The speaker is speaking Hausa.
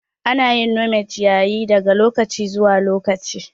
Ana yin nome ciyayi daga lokaci zuwa lokaci.